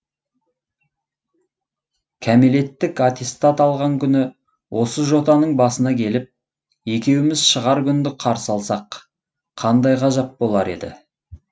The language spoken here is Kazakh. кәмелеттік аттестат алған күні осы жотаның басына келіп екеуіміз шығар күнді қарсы алсақ қандай ғажап болар еді